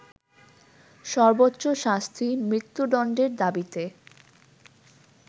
সর্বোচ্চ শাস্তি মৃত্যুদণ্ডের দাবিতে